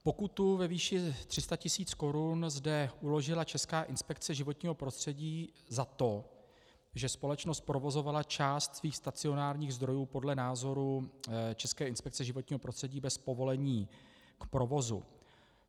Pokutu ve výši 300 tis. korun zde uložila Česká inspekce životního prostředí za to, že společnost provozovala část svých stacionárních zdrojů podle názoru České inspekce životního prostředí bez povolení k provozu.